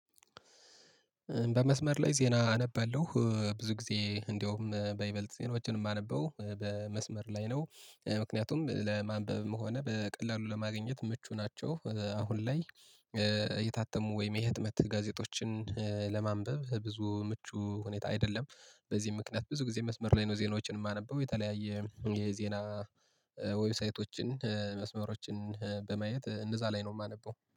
በመስመር ላይ ዜና አነበለሁ ብዙ ጊዜ እንደውም በይበልጥ ዜናዎችን የማነበው በመስመር ላይ ነው ምክንያቱም ለማንበብም ሆነ በቀላሉ ለማግኘት ምቹ ናቸው። አሁን ላይ የታተሙ ወይም የህትመት ጋዜጦችን ለማንበብ ብዙ ምቹ ሁኔታ አይደለም። በዚህ ምክንያት ብዙ ጊዜ መስመር ላይ ነው ዜናዎችን የማነበው። የተለያየ የዜና ዌብሳይቶችን መስመሮችን በማየት እነዛ ላይ ነው የማነበው